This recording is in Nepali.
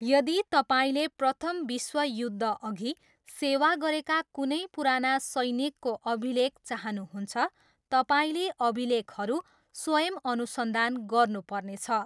यदि तपाईँले प्रथम विश्वयुद्धअघि सेवा गरेका कुनै पुराना सैनिकको अभिलेख चाहनुहुन्छ, तपाईँले अभिलेखहरू स्वयम् अनुसन्धान गर्नुपर्नेछ।